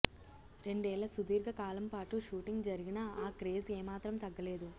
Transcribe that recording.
రెండేళ్ళ సుదీర్గ కాలం పాటు షూటింగ్ జరిగినా ఆ క్రేజ్ ఏమాత్రం తగ్గలేదు